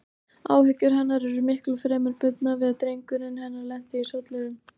Áhyggjur hennar eru miklu fremur bundnar við að drengurinn hennar lendi í sollinum.